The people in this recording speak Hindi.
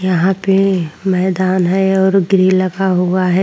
यहाँ पे मैदान है और ग्रिल लगा हुआ हैं ।